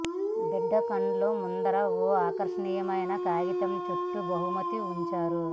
బిడ్డ కండ్ల ముందర ఓ ఆకర్షణీయమైన కాగితంలో చుట్టిన బహుమతిని ఉంచారు